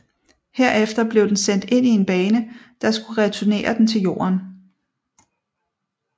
Herefter blev den sendt ind i en bane der skulle returnere den til Jorden